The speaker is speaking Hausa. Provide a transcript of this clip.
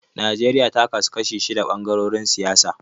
Najeriya ta kasu kashi shida ɓangarorin siyasa.